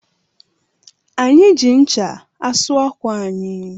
Anyị ji ncha asụ ákwà anyị